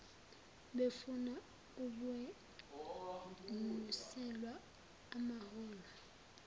befuna ukwenyuselwa amaholo